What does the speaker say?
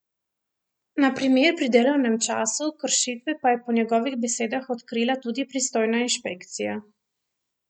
Na primer pri delovnem času, kršitve pa je po njegovih besedah odkrila tudi pristojna inšpekcija.